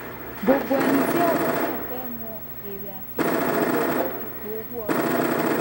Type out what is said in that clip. gbogbo ẹni tí ọ̀rọ̀ kàn fẹ́ mọ èrè àti ipò owó ipò owó ọdún.